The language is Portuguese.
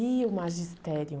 E o magistério?